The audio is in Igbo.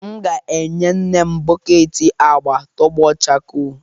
M ga-enye nne m bọket agba tọgbọ chakoo